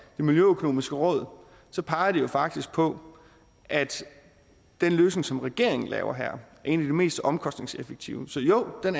det miljøøkonomiske råd peger de jo faktisk på at den løsning som regeringen laver her en af de mest omkostningseffektive så jo den